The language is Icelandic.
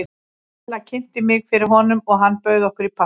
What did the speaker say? Ella kynnti mig fyrir honum og hann bauð okkur í partí.